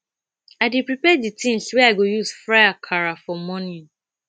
i dey prepare the things wey i go use fry akara for morning